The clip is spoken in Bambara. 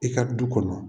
I ka du kɔnɔ